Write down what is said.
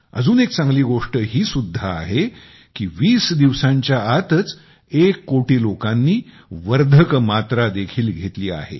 अजून एक चांगली गोष्ट ही पण आहे की वीस दिवसांच्या आतच एक करोड लोकांनी प्रिकॉशन दोसे देखील घेतलेला आहे